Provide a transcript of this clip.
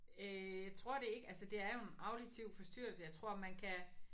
Øh tror det ikke altså det er jo en auditiv forstyrrelse jeg tror man kan